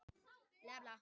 Daninn drekkur te.